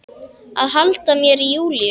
Að halda mér í Júlíu.